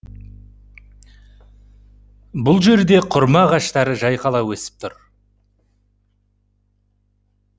бұл жерде құрма ағаштары жайқала өсіп тұр